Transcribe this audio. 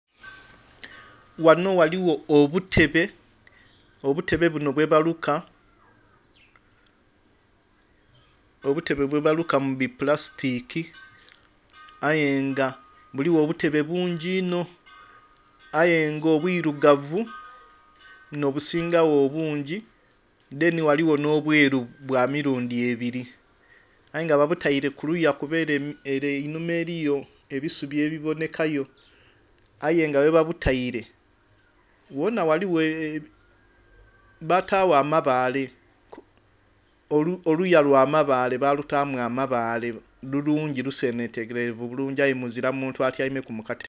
Ghanho ghaligho obutebe, obutebe bunho bwe baluka mupulasitiki aye nga buligho obutebe bungi inho aye nga obwirugavu nho busingagho obungi dheni ghaligho nho bweru bwamirundi ebiri aye nga babutaire kuliya kuba er' einhuma eriyo ebisubi ebibonhekayo, aye nga ghebabutaire ghonha ghaligho... Batagho amabaale, oluya lwamabaale balutamu amabaale balutamu amabaale lulungi lusenhikerevu bulungi aye muzira muntu atyaime ku muka.....